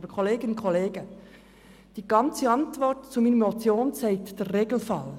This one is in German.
Aber Kolleginnen und Kollegen: Die Antwort auf meine Motion beschreibt den Regelfall.